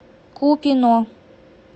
купино